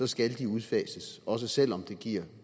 skal de udfases også selv om det giver